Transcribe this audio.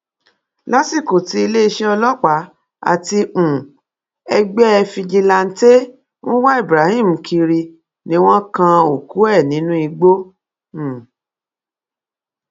lásìkò tí iléeṣẹ ọlọpàá àti um ẹgbẹ fìjìláńtẹ ń wá ibrahim kiri ni wọn kan òkú ẹ nínú igbó um